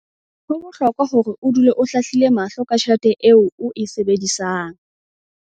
Ho bohlokwa hore o dule o hlahlile mahlo ka tjhelete eo o e sebedisang.